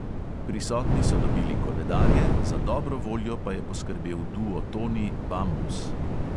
Prisotni so dobili koledarje, za dobro voljo pa je poskrbel duo toni "bambus".